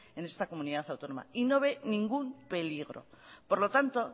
en esta comunidad autónoma y no ve ningún peligro por lo tanto